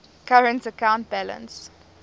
current account balance